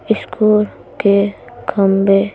school --